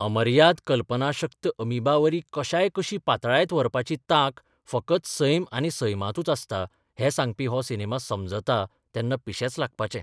अमर्याद कल्पनाशक्त अॅमिबावरी कश्याय कशी पातळायत व्हरपाची तांक फकत सैम आनी सैमांतूच आसता हें सांगपी हो सिनेमा समजता तेन्ना पिशेंच लागपाचें.